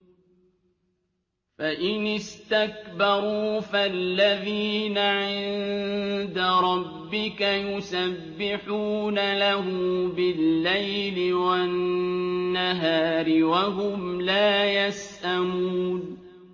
فَإِنِ اسْتَكْبَرُوا فَالَّذِينَ عِندَ رَبِّكَ يُسَبِّحُونَ لَهُ بِاللَّيْلِ وَالنَّهَارِ وَهُمْ لَا يَسْأَمُونَ ۩